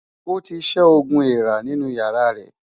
Ó ti ṣẹ́ oogun èèrà nínú ìyàrá rẹ̀.